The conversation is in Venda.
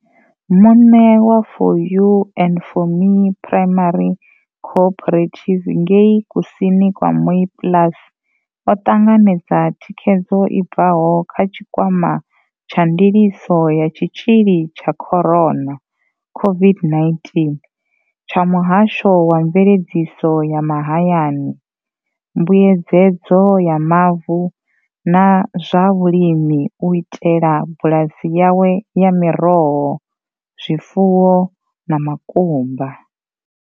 Muṋe wa 4 U and 4 Me Primary Cooperative ngei kusini kwa Mooiplaas o ṱanganedza thikhedzo i bvaho kha tshikwama tsha ndiliso ya tshitzhili tsha Corona CO-VID-19 tsha muhasho wa mveledziso ya mahayani, mbuedzedzo ya mavu na zwa vhulimi u itela bulasi yawe ya miroho, zwifuwo na makumba.